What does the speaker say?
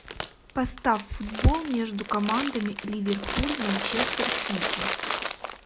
поставь футбол между командами ливерпуль манчестер сити